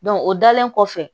o dalen kɔfɛ